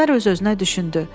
Əsmər öz-özünə düşündü: